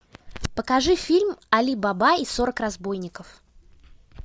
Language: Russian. покажи фильм али баба и сорок разбойников